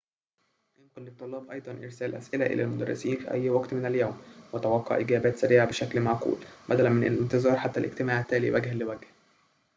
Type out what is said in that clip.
يمكن للطلاب أيضاً إرسال أسئلة إلى المدرسين في أي وقت من اليوم وتوقع إجابات سريعة بشكل معقول بدلاً من الانتظار حتى الاجتماع التالي وجهاً لوجه